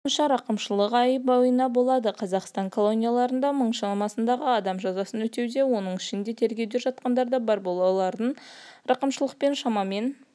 меркельдің айтуынша рақымшылық ай бойынаболады қазақстан колонияларында мың шамасындағы адам жазасын өтеуде оның ішінде тергеуде жатқандар да бар олардың рақымшылықпен шамамен